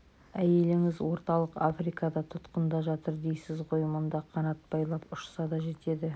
әйеліңіз орталық африкада тұтқында жатыр дейсіз ғой мұнда қанат байлап ұшса да жетеді